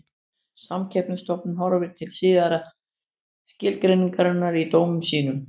Samkeppnisstofnun horfir til síðari skilgreiningarinnar í dómum sínum.